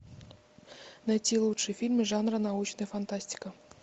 найти лучшие фильмы жанра научная фантастика